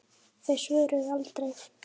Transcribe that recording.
Þau svöruðu aldrei.